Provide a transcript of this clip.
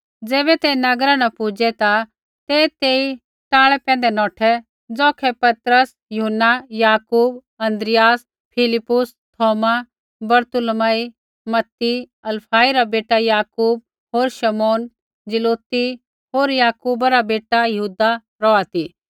ज़ैबै ते नगरा न पुजै ता ते तेई टाल़ै पैंधै नौठै ज़ौखै पतरस यूहन्ना न याकूब अन्द्रियास फिलिप्पुस थौमा बरतुलमई मती हलफई रा बेटा याकूब होर शमौन ज़िलौती होर याकूबा रा बेटा यहूदा रौहा ती